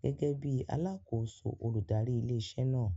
gẹ́gẹ́ bíi alákòóso olùdarí ilé iṣẹ́ náà.